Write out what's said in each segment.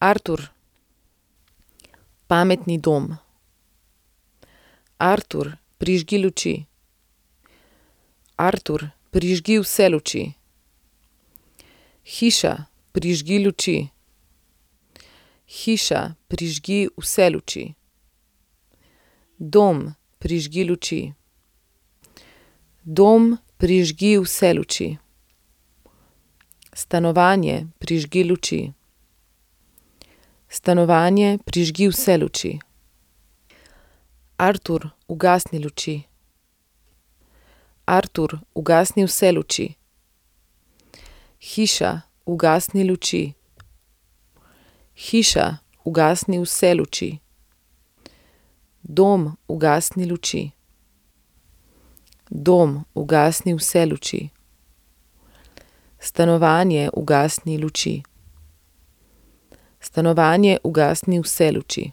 Artur. Pametni dom. Artur, prižgi luči. Artur, prižgi vse luči. Hiša, prižgi luči. Hiša, prižgi vse luči. Dom, prižgi luči. Dom, prižgi vse luči. Stanovanje, prižgi luči. Stanovanje, prižgi vse luči. Artur, ugasni luči. Artur, ugasni vse luči. Hiša, ugasni luči. Hiša, ugasni vse luči. Dom, ugasni luči. Dom, ugasni vse luči. Stanovanje, ugasni luči. Stanovanje, ugasni vse luči.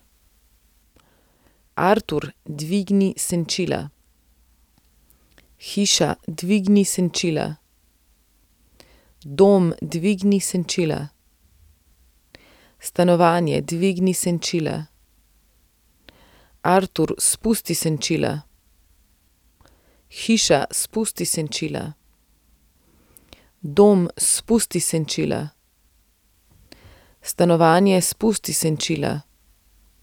Artur, dvigni senčila. Hiša, dvigni senčila. Dom, dvigni senčila. Stanovanje, dvigni senčila. Artur, spusti senčila. Hiša, spusti senčila. Dom, spusti senčila. Stanovanje, spusti senčila.